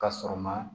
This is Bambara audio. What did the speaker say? Ka sɔrɔ ma